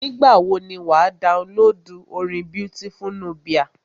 Nígbà wọ ni wà á downloadu orin Beautiful Nubia.